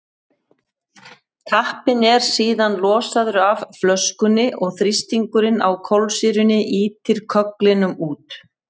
tappinn er síðan losaður af flöskunni og þrýstingurinn á kolsýrunni ýtir kögglinum út